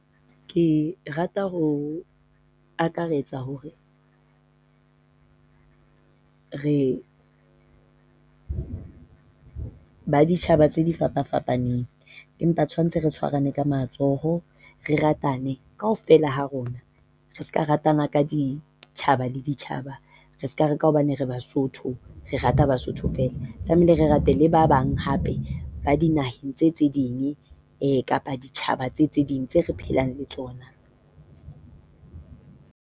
Ke rata ho akaretsa hore re baditjhaba tse difapafapaneng empa tshwantshe re tshwarane ka matsoho re ratane. Kaofela ha rona. Re seka ratana ka ditjhaba le ditjhaba, Re seka re ka hobane re Basotho re rata Basotho feela. Tlamehile re rate le ba bang hape, ba dinaheng tse tse ding kapa ditjhaba tse tse ding tseo re phelang le tsona.